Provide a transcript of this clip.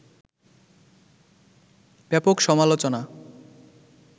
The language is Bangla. ব্যাপক সমালোচনা